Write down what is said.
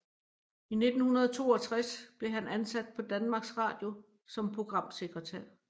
I 1962 blev han ansat på Danmarks Radio som programsekretær